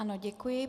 Ano, děkuji.